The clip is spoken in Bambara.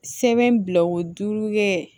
Sɛbɛn bila o duuru ye